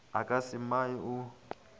a ka ja mae o